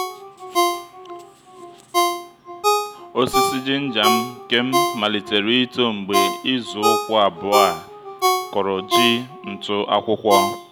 ọ́sị̀sị̀ jínjà nke m málítèrè ító mgbe ízù ùkwú abụ́ọ̀ á kụ́rụ́ jí ntụ́ ákwụ́kwọ́.